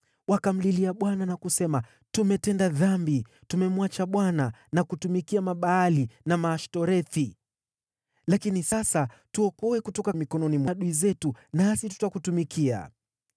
Wakamlilia Bwana na kusema, ‘Tumetenda dhambi; tumemwacha Bwana na kutumikia Mabaali na Maashtorethi. Lakini sasa tuokoe kutoka mikono ya adui zetu, nasi tutakutumikia.’